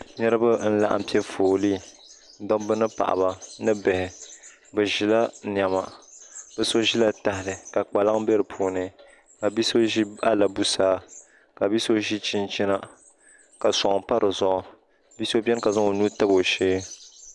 niraba n laɣam piɛ foolii dabba ni paɣaba ni bihi bi ʒila niɛma bi so ʒila tahali ka kpaŋ bɛ di puuni ka bia so ʒi alabusaa ka bia so ʒi chinchina ka soŋ pa dizuɣu bia so biɛni ka zaŋ o nuu tabi o shee